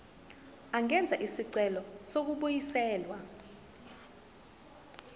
angenza isicelo sokubuyiselwa